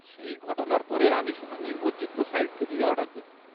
সেই ঘটনার পরে আমি শুধু নির্ভরযোগ্য সাইট থেকেই অর্ডার করি।